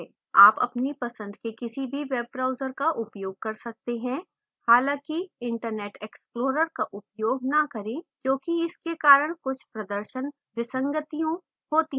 आप अपनी पसंद के किसी भी web browser का उपयोग कर सकते हैं